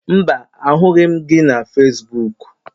Mba, ahụghị m gị na Fesbuk